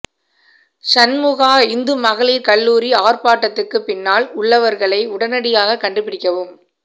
சன்முஹா இந்து மகளிர் கல்லூரி ஆர்ப்பாட்டத்துக்கு பின்னால் உள்ளவர்களை உடனடியாக கண்டுபிடிக்கவும்